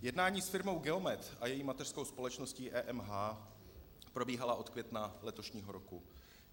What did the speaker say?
Jednání s firmou Geomet a její mateřskou společností EMH probíhala od května letošního roku.